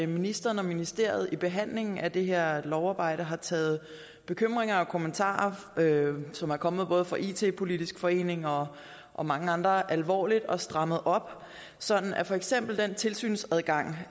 ministeren og ministeriet i behandlingen af det her lovarbejde har taget bekymringer og kommentarer som er kommet både fra it politisk forening og og mange andre alvorligt og strammet op sådan at for eksempel den tilsynsadgang